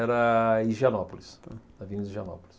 Era Higienópolis, Avenida Higienópolis.